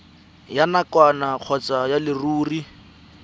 ya nakwana kgotsa ya leruri